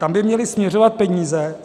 Tam by měly směřovat peníze.